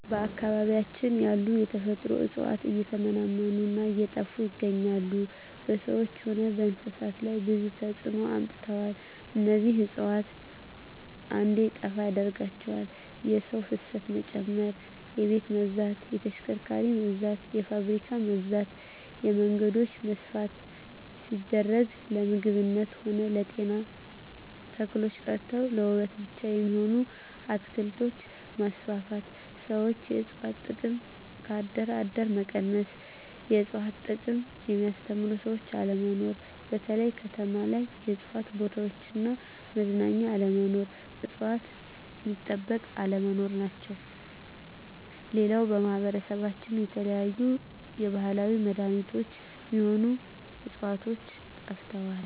በአካባቢያችን ያሉ የተፈጥሮ እጽዋት እየተመናመኑ እና እየጠፋ ይገኛሉ በሰዎች ሆነ በእንስሳት ላይ ብዙ ተጽዕኖ አምጥተዋል እነዚህ እጽዋት እንዴጠፋ ያደረጋቸው የሰው ፋሰት መጨመር የቤት መብዛት የተሽከርካሪ መብዛት የፋብሪካ መብዛት የመንገዶች መስፍን ሲደረግ ለምግብነት ሆነ ለጤና ተክሎች ቀርተው ለዉበት ብቻ የሚሆኑ አትክልቶች መስፋፋት ሠዎች የእጽዋት ጥቅም ከአደር አደር መቀነስ የእጽዋት ጥቅምን የሚያስተምሩ ሰዎች አለመኖር በተለይ ከተማ ላይ የእጽዋት ቦታዎች እና መዝናኛ አለመኖር እጽዋት ሚጠበቅ አለመኖር ናቸው ሌላው በማህበረሰባችን የተለያዩ የባህላዊ መዳኔቾች ሚሆኑ ህጽዋቾች ጠፍተዋል